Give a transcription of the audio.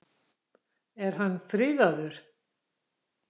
Er hann friðaður?